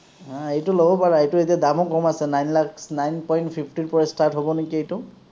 অ, এইটো ল’ব পাৰা। এইটো এতিয়া দামো কম আছে, nine lakhs, nine point fifty ৰ পৰা start হ’ব নিকি এইটো।